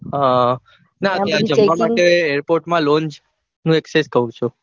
હા નાં ત્યાં જમવા માટે airport માં longe નું કઊ છું.